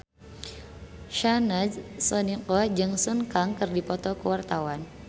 Syahnaz Sadiqah jeung Sun Kang keur dipoto ku wartawan